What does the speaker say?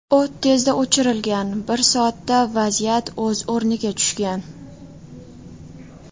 O‘t tezda o‘chirilgan, bir soatda vaziyat o‘z o‘rniga tushgan.